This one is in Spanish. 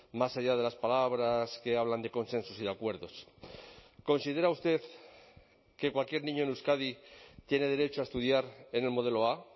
más allá de las palabras que hablan de consensos y de acuerdos considera usted que cualquier niño en euskadi tiene derecho a estudiar en el modelo a